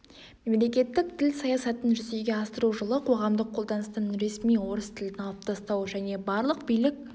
мемлекеттік тіл саясатын жүзеге асыру жылы қоғамдық қолданыстан ресми орыс тілін алып тастау және барлық билік